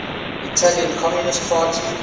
italian communist party